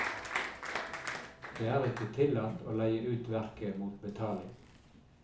Det er ikke tillatt å leie ut verket mot betaling.